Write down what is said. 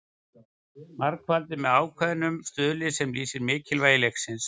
Margfaldað með ákveðnum stuðli sem lýsir mikilvægi leiksins.